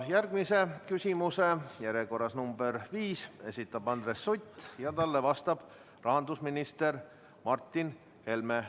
Järgmise küsimuse, see on järjekorras nr 5, esitab Andres Sutt ja talle vastab rahandusminister Martin Helme.